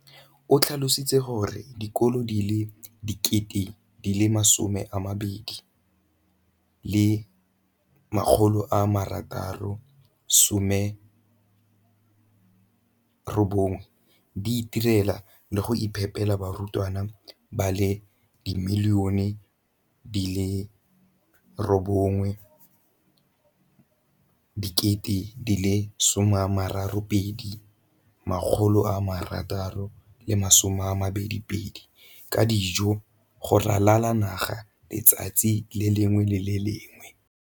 O tlhalositse gore dikolo di le 20 619 di itirela le go iphepela barutwana ba le 9 032 622 ka dijo go ralala naga letsatsi le lengwe le le lengwe.